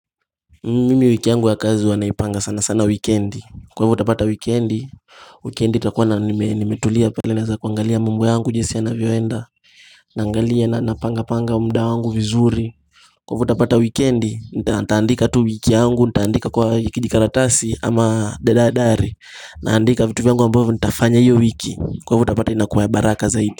Mimi wiki yangu ya kazi huwa naipanga sana sana wikiendi. Kwa hivyo utapata wikiendi Wikiendi itakuwa nimetulia pale naweza kuangalia mambo yangu jinsi yanavyoenda Naangalia na napanga panga mda wangu vizuri Kwa hivyo utapata wikendi, nitaandika tu wiki yangu, nitaandika kwa kidikaratasi ama daradari Naandika vitu vyangu ambavyo, nitafanya iyo wiki, kwa hivyo utapata inakuwa baraka zaidi.